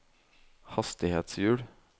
hastighetshjul